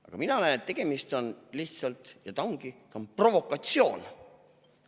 Aga mina näen, et tegemist on lihtsalt provokatsiooniga, ja see ongi provokatsioon.